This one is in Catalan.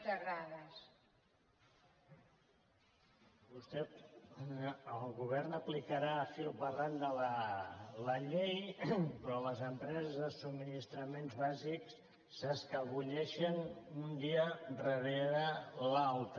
el govern aplicarà fil per randa la llei però les empreses de subministraments bàsics s’escapoleixen un dia darrere l’altre